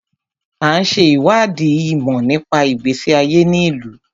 À ń ṣe ìwádìí ìmọ̀ nípa ìgbésí ayé ní ìlú.